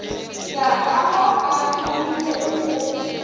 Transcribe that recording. ya ka mo a ruwilego